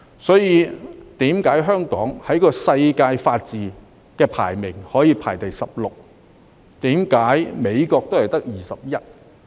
所以，為何香港可以在法治指數排名第十六位，而美國只排名第二十一位？